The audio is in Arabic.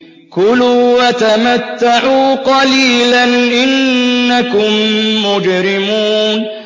كُلُوا وَتَمَتَّعُوا قَلِيلًا إِنَّكُم مُّجْرِمُونَ